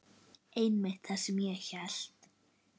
Einmitt það sem ég hélt.